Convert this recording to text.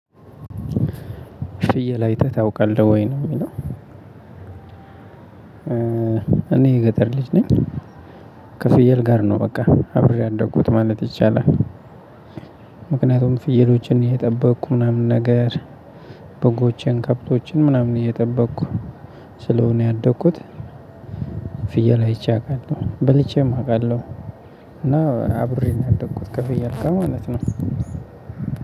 ፍየል አይተህ ታውቃለህ ወይ? ነው የሚለው እኔ የገጠር ልጅ ነኝ ከፍየል ጋር ነው በቃ አብሬ ያደጉት ማለት ይቻላል ምክንያቱም ፍየሎችን እየጠበቅኩ ምናምን ነገር በጎችን ከብቶችን ምናምን እየጠበቅኩ ስለሆነ ያደግኩት ፍየል አይቼ አውቃለሁ በልቼም አውቃለሁ እና አብሬ ያደንኩት ከፍየል ጋር ነው ማለት ነው